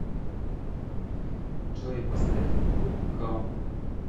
джой поставь груп хаум